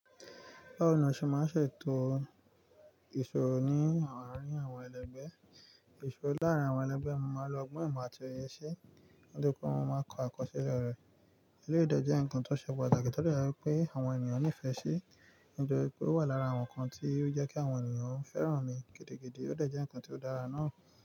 Báwo ni o ṣe máa ń ṣètò ìṣòwo ní àárín àwọn ẹlẹgbẹ́? Ìṣòwo láàárín àwọn ẹlẹgbẹ́ máa ń lọ gbọ́n ìmọ̀ àti iyọ̀ ṣe, ó dúró pé wọ́n máa ń kọ àkọsílẹ̀ rẹ̀. Eléyii de jé ńkan tó ṣẹ̀ pataki to de je wipé àwọn ènìyàn nífẹ̀ẹ́ sí. Nitoripé ó wà lára àwọn ǹkan tí ó jẹ́ kí àwọn ènìyàn fẹ́ràn mi gidi gidi ó dọ̀jẹ́ ǹkan tó dára náà.